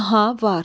Aha, var.